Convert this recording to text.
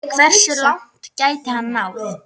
Hversu langt gæti hann náð?